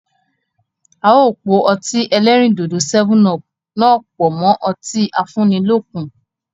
Áà ó po o Ọtí ẹlẹ́rìndòdò "7up" náà pọ mọ ọtí afúnilókun